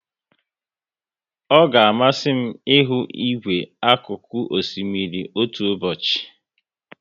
Ọ ga amasị m ihu igwe akuku osimiri otu ụbọchị